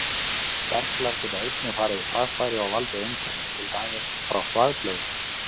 Berklar geta einnig farið í þvagfæri og valdið einkennum, til dæmis frá þvagblöðru.